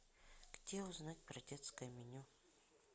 где узнать про детское меню